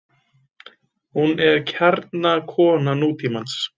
Hún er kjarnakona nútímans.